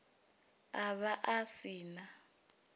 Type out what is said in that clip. a vha a si na